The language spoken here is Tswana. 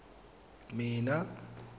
mmina